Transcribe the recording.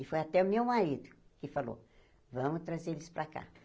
E foi até o meu marido que falou, vamos trazer eles para cá.